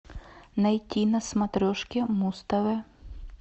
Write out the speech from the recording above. найти на смотрешке муз тв